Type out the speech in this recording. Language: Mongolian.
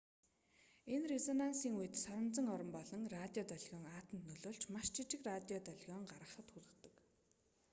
энэ резонансийн үед соронзон орон болон радио долгион атомд нөлөөлж маш жижиг радио долгион гаргахад хүргэдэг